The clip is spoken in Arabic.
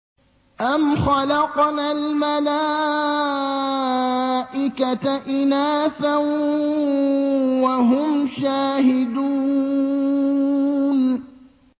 أَمْ خَلَقْنَا الْمَلَائِكَةَ إِنَاثًا وَهُمْ شَاهِدُونَ